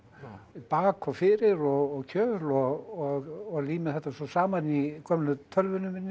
bak og fyrir og kjöl og lími þetta svo saman í gömlu tölvunni minni